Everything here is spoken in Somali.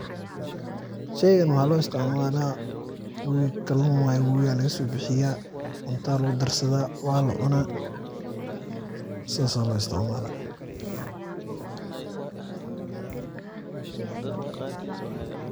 Sheygan waxaa loisticmalaa, kalun wayee wowiga aya lagasobixiyaa, cunta lagu darsadaa waa lacuna sas aya loisticmala.